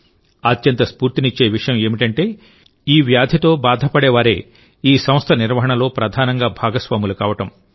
అత్యంత స్ఫూర్తినిచ్చే విషయం ఏమిటంటే ఈ వ్యాధితో బాధపడేవారే ఈ సంస్థ నిర్వహణలో ప్రధానంగా భాగస్వాములు కావడం